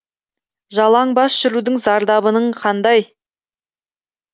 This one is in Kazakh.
жалаң бас жүрудің зардабының қандай